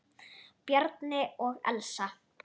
Bjarni og Elsa.